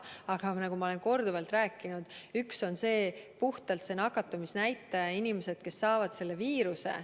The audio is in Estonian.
Aga nagu ma olen korduvalt rääkinud, on üks pool puhtalt see nakatumisnäitaja, inimesed, kes saavad selle viiruse.